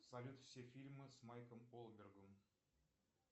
салют все фильмы с майклом голдбергом